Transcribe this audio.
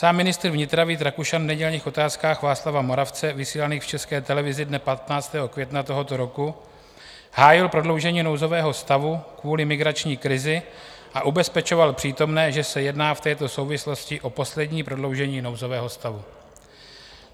Sám ministr vnitra Vít Rakušan v nedělních Otázkách Václava Moravce vysílaných v České televizi dne 15. května tohoto roku hájil prodloužení nouzového stavu kvůli migrační krizi a ubezpečoval přítomné, že se jedná v této souvislosti o poslední prodloužení nouzového stavu.